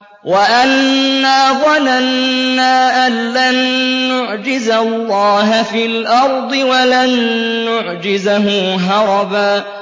وَأَنَّا ظَنَنَّا أَن لَّن نُّعْجِزَ اللَّهَ فِي الْأَرْضِ وَلَن نُّعْجِزَهُ هَرَبًا